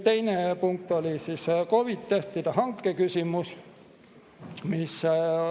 Teine punkt oli COVID‑i testide hanke küsimus.